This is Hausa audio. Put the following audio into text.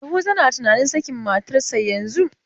Yahuza na tunanin sakin matarsa yanzun.